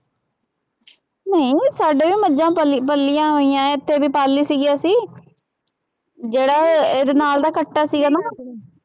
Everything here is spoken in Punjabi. ਨਹੀਂ ਸਾਡੇ ਵੀ ਮੱਝਾਂ ਪਲੀ ਪਲੀਆਂ ਹੋਈਆਂ ਇੱਥੇ ਵੀ ਪਾਲੀ ਸੀੀਗੀ ਅਸੀਂ ਜਿਹੜਾ ਅਹ ਇਹਦੇ ਨਾਲ ਕੱਟਾ ਸੀਗਾ ਨਾ